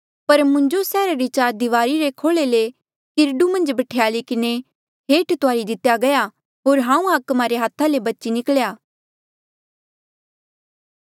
पर मुंजो सैहरा री चार दिवारी रे खोले ले किरडू मन्झ बठ्याली किन्हें हेठ तुआरी दितेया गया होर हांऊँ हाकमा रे हाथा ले बची निख्ल्या